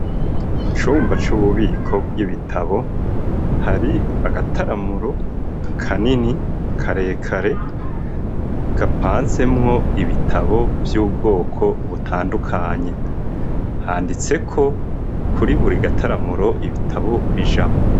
Mu cumba c'ububiko bw'ibitabo hari agataramuro kanini karekare gapanzemwo ibitabo vy'ubwoko butandukanye ,handitseko kuri buri gataramuro ibitabo bijamwo.